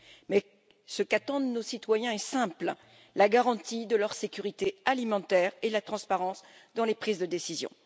Mais ce qu'attendent nos citoyens est simple la garantie de leur sécurité alimentaire et la transparence dans les prises de décision.